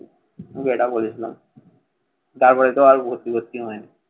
ওকে এটা বলেছিলাম। তারপরে তো আর ভর্তি ফর্তি হয়নি।